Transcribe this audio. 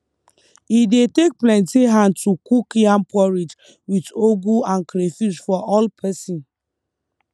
e dey take plenty hand to cook yam porridge with ugu and crayfish for all person